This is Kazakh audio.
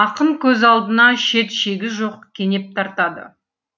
ақын көз алдына шет шегі жоқ кенеп тартады